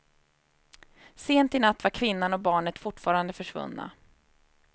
Sent i natt var kvinnan och barnet fortfarande försvunna.